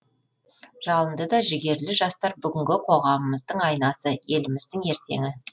жалынды да жігерлі жастар бүгінгі қоғамымыздың айнасы еліміздің ертеңі